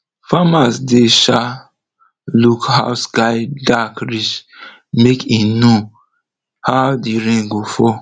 farmers dey um look how sky dark reach make e know how the rain go fall